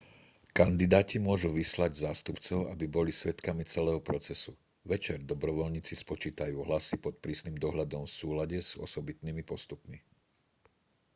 kandidáti môžu vyslať zástupcov aby boli svedkami celého procesu večer dobrovoľníci spočítajú hlasy pod prísnym dohľadom v súlade s osobitnými postupmi